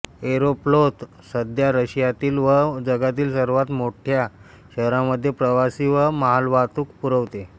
Aeroflot सध्या रशियातील व जगातील सर्व मोठ्या शहरांमध्ये प्रवासी व मालवाहतूक पुरवते